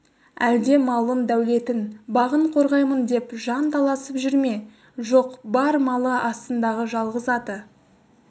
әлде малын дәулетін бағын қорғаймын деп жан таласып жүр ме жоқ бар малы астындағы жалғыз аты